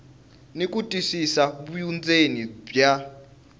ni ku twisisa vundzeni bya